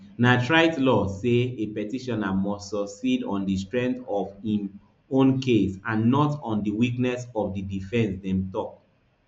na trite law say a petitioner must succeed on di strength of im own case and not on di weakness of di defence dem tok